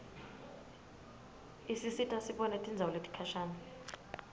isisita sibone tindzawo letikhashane